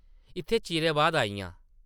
इत्थै चिरें बाद आई आं ।